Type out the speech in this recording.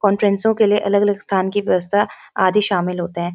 कान्फ्रन्सओ के लिए अलग-अलग स्थान की व्यवस्था आदि शमिल होते है।